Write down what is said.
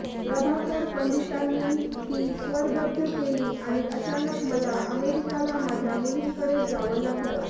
प्रभाकर पंडितांनी ती स्वरबद्ध केली आणि अचानक मला अमेरिकेला माझ्या मुलींकडे जावं लागलं